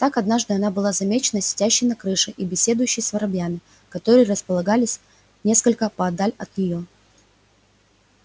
так однажды она была замечена сидящей на крыше и беседующей с воробьями которые располагались несколько поодаль от нее